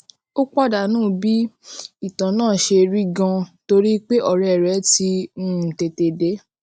o padanu bí ìtàn náà ṣe rí ganan torí pé òré rè ti um tètè dé